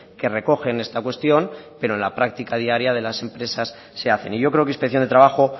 que recogen esta cuestión pero en la práctica diaria de las empresas se hacen y yo creo que inspección de trabajo